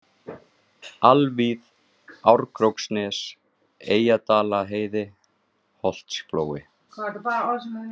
Alvíð, Árkróksnes, Eyjadalaheiði, Holtsflói